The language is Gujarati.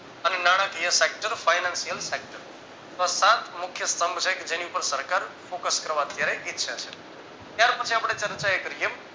અને નાણાકીય facture fainashiyal facture છ સાત મુખ્ય સ્તંભ છે કે જેની ઉપર સરકાર focus કરવા અત્યારે ઈચ્છએ છે ત્યાર પછી અપડે ચર્ચા એ કરીયે